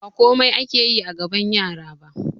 Ba komai ake yi a gaban yara ba